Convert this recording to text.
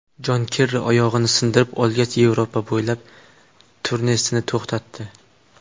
Jon Kerri oyog‘ini sindirib olgach, Yevropa bo‘ylab turnesini to‘xtatdi.